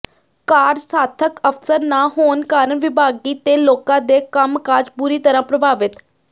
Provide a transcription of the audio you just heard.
ਕਾਰਜਸਾਧਕ ਅਫ਼ਸਰ ਨਾ ਹੋਣ ਕਾਰਨ ਵਿਭਾਗੀ ਤੇ ਲੋਕਾਂ ਦੇ ਕੰਮਕਾਜ ਬੁਰੀ ਤਰ੍ਹਾਂ ਪ੍ਰਭਾਵਿਤ